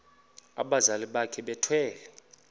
abazali bakhe bethwele